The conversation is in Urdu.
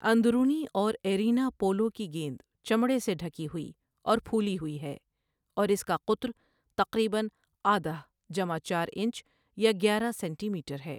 اندرونی اور ایرینا پولو کی گیند چمڑے سے ڈھکی ہوئی اور پھولی ہوئی ہے، اور اس کا قطر تقریباً آدہ جمع چار انچ یا گیارہ سینٹی میٹر ہے ۔